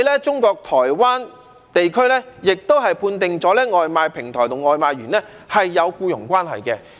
中國台灣地區亦判定了外賣平台和外賣員是有僱傭關係。